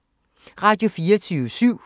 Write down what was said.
Radio24syv